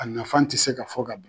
A nafa te se ka fɔ ka ban